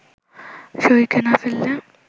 শরীরকে না ফেললে